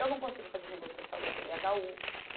Eu não consigo fazer negociação no cê dê agá u.